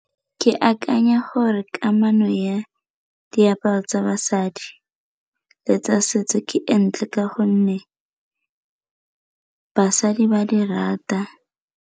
Ke akanya gore kamano ya diaparo tsa basadi le tsa setso ke e ntle ka gonne basadi ba di rata.